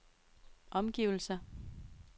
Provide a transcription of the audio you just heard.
omgivelser